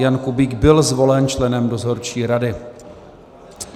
Jan Kubík byl zvolen členem dozorčí rady.